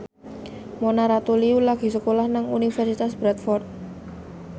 Mona Ratuliu lagi sekolah nang Universitas Bradford